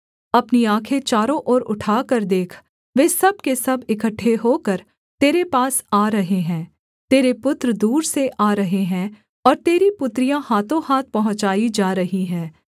अपनी आँखें चारों ओर उठाकर देख वे सब के सब इकट्ठे होकर तेरे पास आ रहे हैं तेरे पुत्र दूर से आ रहे हैं और तेरी पुत्रियाँ हाथोंहाथ पहुँचाई जा रही हैं